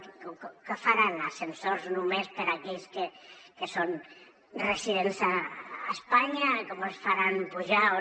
què faran ascensors només per a aquells que són residents a espanya com els faran pujar o